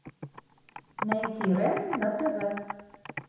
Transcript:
найти рен на тв